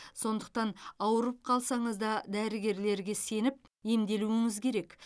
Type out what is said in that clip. сондықтан ауырып қалсаңыз да дәрігерлерге сеніп емделуіңіз керек